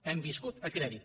hem viscut a crèdit